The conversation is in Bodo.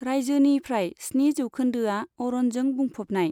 रायजोनि फ्राय स्निजि जौखोन्दोआ अरनजों बुंफबनाय।